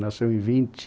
Nasceu em vinte